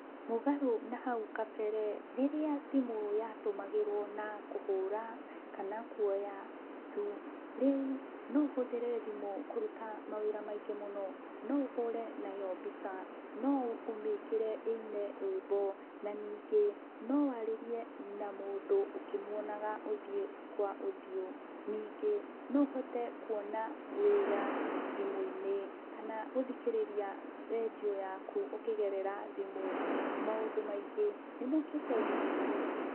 Mũgarũ na haũ kabere rĩrĩa thimũ yatũmagĩrwo na kũhũra kana kũoya tu, reũ no ũhũthĩre thimũ kũruta mawĩra maingĩ mũno. No ũhũre nayo mbica, no ũmĩkĩre ĩine rwĩmbo na ningĩ no warĩe na mũndũ ũkĩmũonaga ũthĩũ kwa ũthĩũ, ningĩ no ũhote kũona wĩra thimũ-inĩ kana gũthikĩrĩria rendio yaku ũkĩgerera thimũ. Maũndũ maingĩ nĩmokĩte thĩmũ-inĩ.